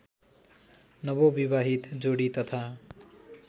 नवविवाहित जोडी तथा